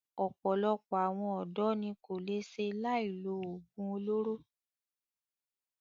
Ọ̀pọ̀lọpọ̀ àwọn ọ̀dọ́ ní kò lè ṣe láì lo oògùn olóró.